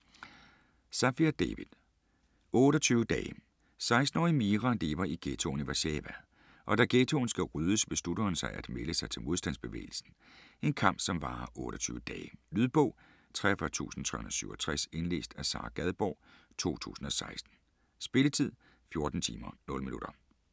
Safier, David: 28 dage 16-årige Mira lever i ghettoen i Warszawa, og da ghettoen skal ryddes, beslutter hun sig at melde sig til modstandsbevægelsen. En kamp, som varer 28 dage. Lydbog 43367 Indlæst af Sara Gadborg, 2016. Spilletid: 14 timer, 0 minutter.